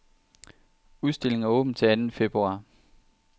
Udstillingen er åben til anden februar.